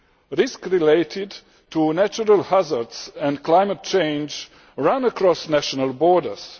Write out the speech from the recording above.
Risks related to natural hazards and climate change go beyond national borders.